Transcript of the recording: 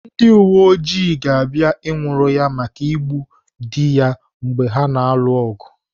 Ndị uweojii ga-abịa nwụrụ ya maka igbu dị ya mgbe ha na-alụ ọgụ.